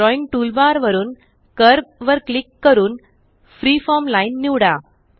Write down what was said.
drawing toolbar वरून curve वर click करून फ्रीफॉर्म लाईन निवडा